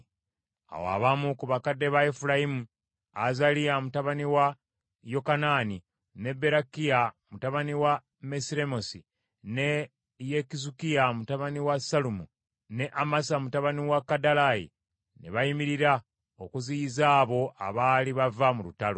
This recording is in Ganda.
Awo abamu ku bakadde ba Efulayimu, Azaliya mutabani wa Yokanaani, ne Berakiya mutabani wa Mesiremosi, ne Yekizukiya mutabani wa Sallumu, ne Amasa mutabani wa Kadalayi, ne bayimirira okuziyiza abo abaali bava mu lutalo.